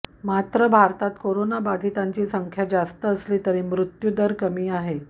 मात्र भारतात कोरोनाबाधितांची संख्या जास्त असली तरी मृत्यूदर कमी आहे